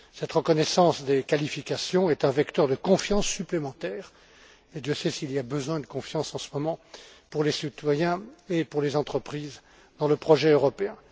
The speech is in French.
Cette reconnaissance des qualifications est un vecteur de confiance supplémentaire et Dieu sait s'il y a besoin de confiance en ce moment pour les citoyens et pour les entreprises dans le projet européen.